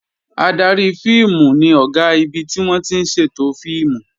Adarí fíìmù ni Ọ̀gá ibi tí wọ́n ti ń ṣètò fíìmù